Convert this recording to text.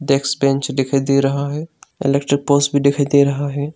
Desk bench भी दिखाई दे रहा है इलेक्ट्रिक पोल्स भी दिखाई दे रहा है।